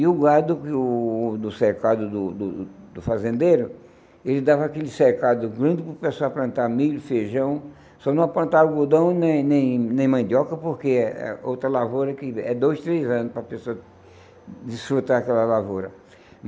E o gado do do cercado do do do fazendeiro, ele dava aquele cercado grande para a pessoa plantar milho, feijão, só não plantava algodão nem nem nem mandioca, porque é outra lavoura que é dois, três anos para a pessoa desfrutar aquela lavoura.